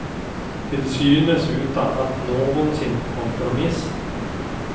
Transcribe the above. Till synes utan att någonsin kompromissa.